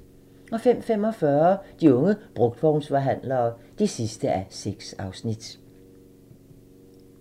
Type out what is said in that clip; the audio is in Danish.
05:45: De unge brugtvognsforhandlere (6:6)